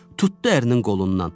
Tutdu ərinin qolundan.